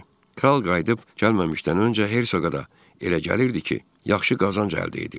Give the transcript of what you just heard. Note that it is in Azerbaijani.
Kral qayıdıb gəlməzdən öncə hersoqa da elə gəlirdi ki, yaxşı qazanc əldə edib.